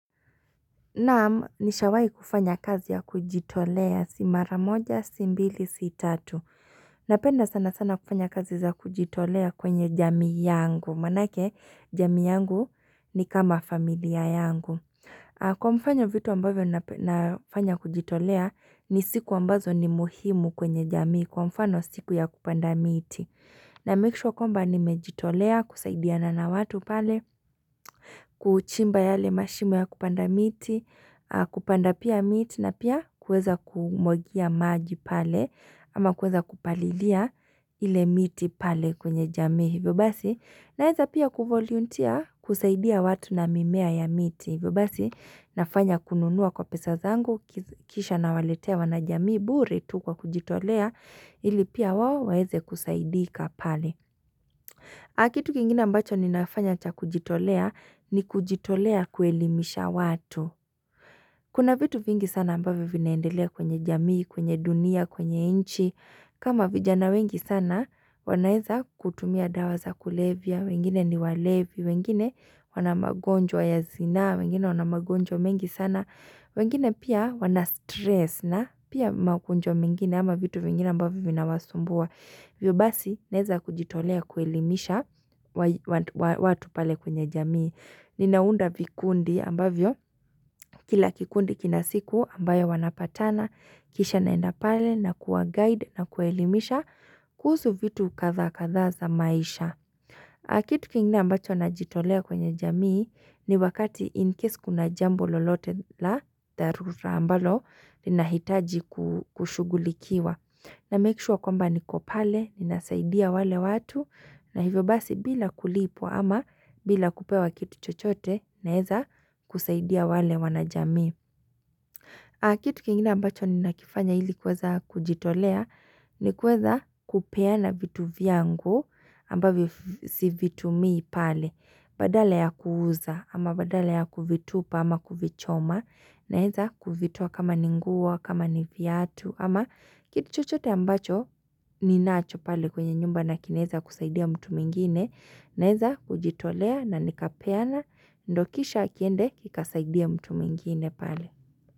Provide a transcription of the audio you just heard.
Naam, nishawai kufanya kazi ya kujitolea si mara moja, si mbili, si tatu. Napenda sana sana kufanya kazi za kujitolea kwenye jamii yangu. Manake, jamii yangu ni kama familia yangu. Kwa mfano vitu ambavyo nafanya kujitolea, ni siku ambazo ni muhimu kwenye jamii. Kwa mfano siku ya kupanda miti. Na make sure kwamba nimejitolea kusaidiana na watu pale. Kuuchimba yale mashimo ya kupanda miti Kupanda pia miti na pia kueza kumwagia maji pale ama kueza kupalilia ile miti pale kwenye jamii hivyo basi naweza pia kuvoluntia kusaidia watu na mimea ya miti na fanya kununua kwa pesa zangu Kisha na waletea wanajamii bure tu kwa kujitolea ili pia wao waeze kusaidika pale Akitu kingine ambacho ni nafanya cha kujitolea ni kujitolea kuelimisha watu Kuna vitu vingi sana ambavyo vinaendelea kwenye jamii, kwenye dunia, kwenye inchi kama vijana wengi sana wanaeza kutumia dawa za kulevya wengine ni walevi, wengine wana magonjwa ya zina wengine wana magonjwa mengi sana wengine pia wana stress na pia magonjwa mengine ama vitu vingine ambavyo vina wasumbua hivyo basi naeza kujitolea kuelimisha watu pale kwenye jamii Ninaunda vikundi ambavyo kila kikundi kinasiku ambayo wanapatana kisha naenda pale na kuwa guide na kuelimisha kuhusu vitu kadha kadha za maisha. Kitu kingine ambacho na jitolea kwenye jamii ni wakati in case kuna jambo lolote la dharura ambalo lina hitaji kushugulikiwa na make sure kwamba niko pale nina saidia wale watu na hivyo basi bila kulipwa ama bila kupewa kitu chochote naeza kusaidia wale wanajamii. Kitu kingine ambacho ni nakifanya hili kweza kujitolea ni kuweza kupeana vitu vyangu ambavyo sivitumi pale. Badala ya kuuza ama badala ya kuvitupa ama kuvichoma na eza kuvitoa kama ni nguo kama ni viatu ama kitu chochote ambacho ni nacho pale kwenye nyumba na kinaeza kusaidia mtu mwingine na eza kujitolea na nikapeana ndo kisha kiende kikasaidie mtu mwingine pale.